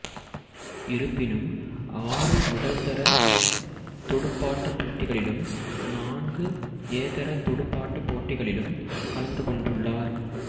இருப்பினும் ஆறு முதல்தர துடுப்பாட்டப் போட்டிகளிலும் நான்கு ஏதர துடுப்பாட்டப் போட்டிகளிலும் கலந்து கொண்டுள்ளார்